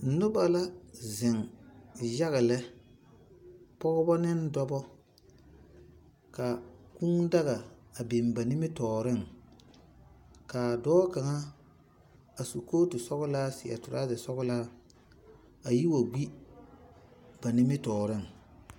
Noba la zeŋ yaga lɛ, pɔgeba ne dɔbɔ, ka kũũ daga a biŋ ba nimitɔɔreŋ, ka dɔɔ kaŋ a su kooti sɔgelaa seɛ toraazɛ sɔgelaa a yi wa gbi ba nimitɔɔreŋ.